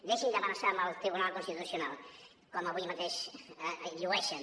deixin d’amenaçar amb el tribunal constitucional com avui mateix llueixen